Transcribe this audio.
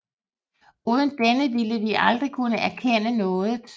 Uden denne ville vi aldrig kunne erkende noget